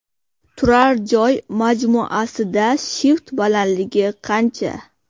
Turar joy majmuasida shift balandiligi qancha?